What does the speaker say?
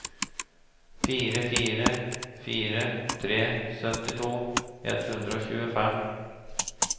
fire fire fire tre syttito ett hundre og tjuefem